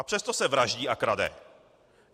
A přesto se vraždí a krade.